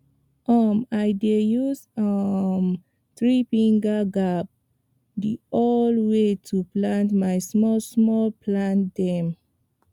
um i dey use um threefinger gap the old way to plant my smallsmall plant dem